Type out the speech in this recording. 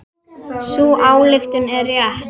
Sú ályktun er rétt.